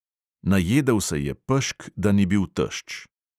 Najedel se je pešk, da ni bil tešč.